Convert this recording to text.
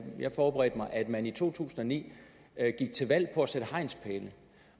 jeg forberedte mig at man i to tusind og ni gik til valg på at sætte hegnspæle